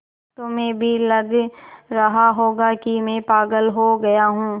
तुम्हें भी लग रहा होगा कि मैं पागल हो गया हूँ